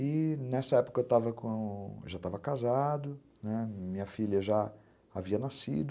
E nessa época eu já estava casado, minha filha já havia nascido,